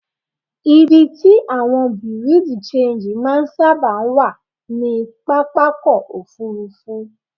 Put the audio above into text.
Ibi tí àwọn Bùréú-di-ṣenji máa ń sáàbà wá ní pápákọ́ Òfurufú.